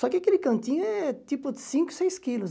Só que aquele cantinho é tipo cinco, seis quilos.